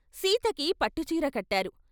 సీతకి పట్టుచీర కట్టారు.